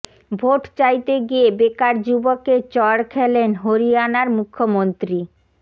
vote চাইতে গিয়ে বেকার যুবকের চড় খেলেন হরিয়ানার মুখ্যমন্ত্রী